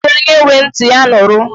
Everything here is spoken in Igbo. Nne m na ekwu e "onye nwe ntị, ya nụrụ"